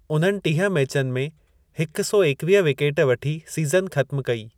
उन्हनि टीह मैचनि में हिक सौ एकवीह विकेट वठी सीज़न ख़त्म कई।